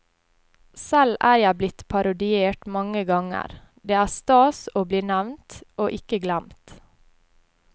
Selv er jeg blitt parodiert mange ganger, det er stas å bli nevnt, og ikke glemt.